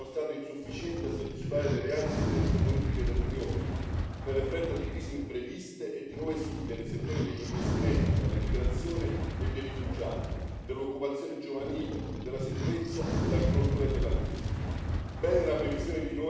L'attuale QFP si è dimostrato insufficiente a soddisfare le reali esigenze politiche dell'Unione, per effetto di crisi impreviste e di nuove sfide nei settori degli investimenti, della migrazione e dei rifugiati, dell'occupazione giovanile, della sicurezza, dell'agricoltura e dell'ambiente.